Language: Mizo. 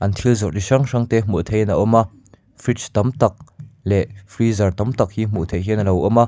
an thil zawrh chi hrang hrang te hmuh theih in a awm a fridge tam tak leh freezer tam tak hi hmuh theih hian alo awm a.